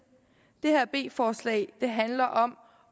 det her b forslag handler om